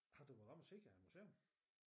Har du været oppe og se æ museum?